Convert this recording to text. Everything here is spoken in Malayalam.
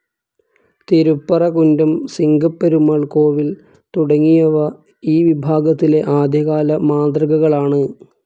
തിരുപ്പറകുന്റം, സിംഗപ്പെരുമാൾ കോവിൽ തുടങ്ങിയവ ഈ വിഭാഗത്തിലെ ആദ്യകാല മാതൃകകളാണ്.